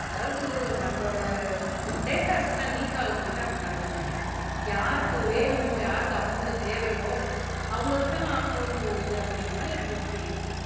அதாவது நம்மளோட டேட்டாஸ் எல்லாம் லீக் ஆக போய்தான் அப்படி நடக்குதுன்னு நினைக்கிறேன் யாருக்கு வேணுமோ யாருக்கு அமௌன்ட் தேவையோ அவங்களுக்குத்தான் போன் போகுது அப்படிங்கிற மாதிரி எனக்கு ஒரு பீலிங்